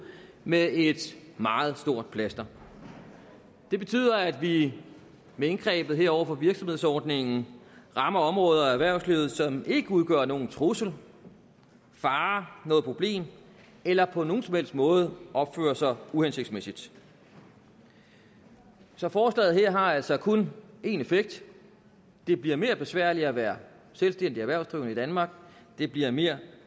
med et meget stort plaster det betyder at vi med indgrebet her over for virksomhedsordningen rammer områder af erhvervslivet som ikke udgør nogen trussel fare noget problem eller på nogen som helst måde opfører sig uhensigtsmæssigt så forslaget her har altså kun en effekt det bliver mere besværligt at være selvstændig erhvervsdrivende i danmark det bliver mere